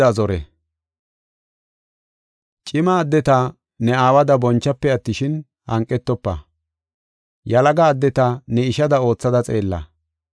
Cima addeta ne aawada bonchafe attishin, hanqetofa. Yalaga addeta ne ishada oothada xeella.